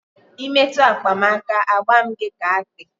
Ị metụ akpa m aka, a gba m gị ka akpị